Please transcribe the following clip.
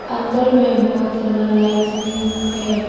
अंदर में बहुत सारा लाइट्स भी है।